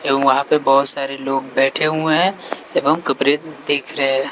ये ऊहा पे बहोत सारे लोग बैठे हुए हैं एवं कपरे देख रहे हैं।